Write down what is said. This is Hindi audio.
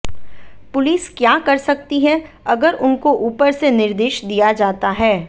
पुलिस क्या कर सकती है अगर उनको ऊपर से निर्देश दिया जाता है